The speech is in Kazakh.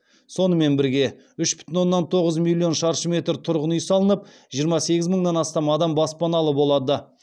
сонымен бірге үш бүтін оннан тоғыз миллион шаршы метр тұрғын үй салынып жиырма сегіз мыңнан астам адам баспаналы болады